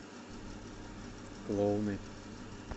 клоуны